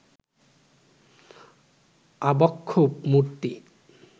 আবক্ষ মূর্তি